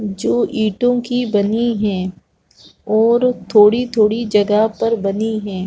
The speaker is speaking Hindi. जो ईंटों की बनी है और थोड़ी-थोड़ी जगह पर बनी है।